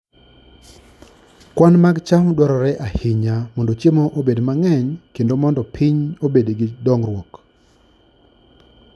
Kwan mag cham dwarore ahinya mondo chiemo obed mang'eny kendo mondo piny obed gi dongruok.